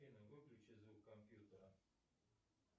афина выключи звук компьютера